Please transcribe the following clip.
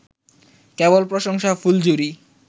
কেবল প্রশংসার ফুলঝুরি